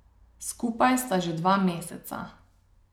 Skupaj sta že dva meseca.